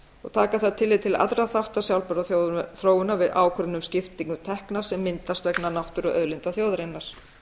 og taka þarf tillit til allra þátta sjálfbærrar þróunar við ákvörðun um skiptingu tekna sem myndast vegna náttúruauðlinda þjóðarinnar